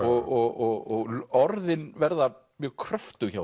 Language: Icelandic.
og orðin verða mjög kröftug hjá